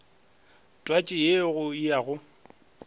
twatši ye go ya go